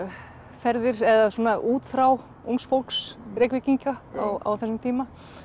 ferðir eða útþrá ungs fólks Reykvíkinga á þessum tíma